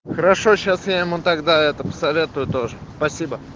хорошо сейчас я ему тогда это посоветую тоже спасибо